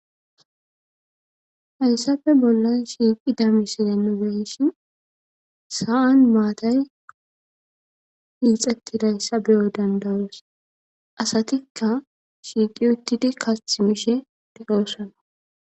Hayssafe bollan shiiqi damiside nogeyshi sa7an maatay iixettidayssa beyo dandawos asatikka shiiqi uttidi kathi mishe deyoossana